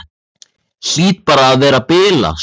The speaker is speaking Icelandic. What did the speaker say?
Hlýt bara að vera að bilast.